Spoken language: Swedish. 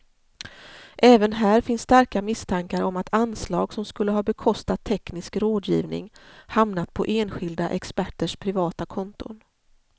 Även här finns starka misstankar om att anslag som skulle ha bekostat teknisk rådgivning hamnat på enskilda experters privata konton.